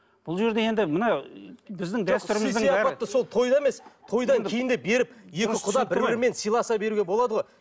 бұл жерде енді мына біздің дәстүріміздің сол тойда емес тойдан кейін де беріп екі құда бір бірімен сыйласа беруге болады ғой